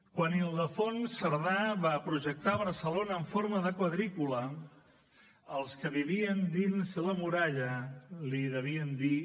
quan ildefons cerdà va projectar barcelona en forma de quadrícula els que vivien dins la muralla li devien dir